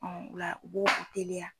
o la u bo o teliya.